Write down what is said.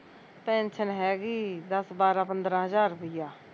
pension ਹੈਗੀ ਦੱਸ ਬਾਰਾਂ ਪੰਦਰਾਂ ਹਜ਼ਾਰ ਰੁੱਪਈਆ